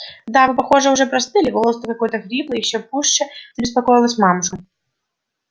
да вы похоже уже простыли голос-то какой хриплый ещё пуще забеспокоилась мамушка